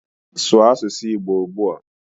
Sụụ asụsụ igbo ugbua